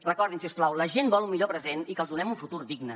recordin si us plau la gent vol un millor present i que els donem un futur digne